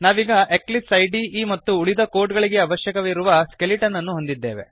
ನಾವೀಗ ಎಕ್ಲಿಪ್ಸ್ ಇದೆ ಐಡಿಇ ಮತ್ತು ಉಳಿದ ಕೋಡ್ ಗಳಿಗೆ ಅವಶ್ಯಕವಿರುವ ಸ್ಕೆಲಿಟನ್ ಅನ್ನು ಹೊಂದಿದ್ದೇವೆ